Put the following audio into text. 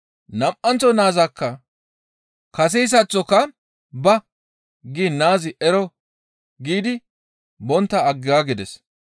«Nam7anththo naazakka kaseyssaththoka, ‹Ba!› giin naazi, ‹Ero!› giidi bontta aggaagides.